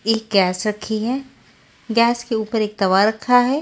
एक गैस रक्खी है गैस के ऊपर एक तवा रक्खा है।